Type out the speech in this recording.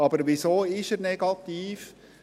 Weshalb ist er negativ?